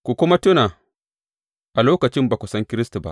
Ku kuma tuna a lokacin ba ku san Kiristi ba.